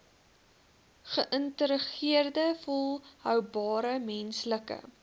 geïntegreerde volhoubare menslike